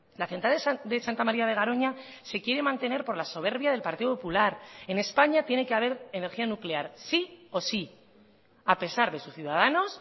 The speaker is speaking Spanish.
la central de santa maría de garoña se quiere mantener por la soberbia del partido popular en españa tiene que haber energía nuclear sí o sí a pesar de sus ciudadanos